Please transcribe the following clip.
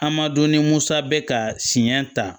A ma dɔn ni musa bɛ ka siɲɛ ta